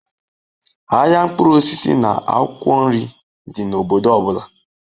Ahịa mkpụrụ osisi na akwụkwọ nri dị n'obodo ọ bụla